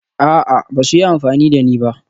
A'a, ba su yi amfani da ni ba